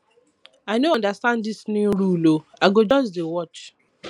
i no understand dis new rule ooo i go just dey watch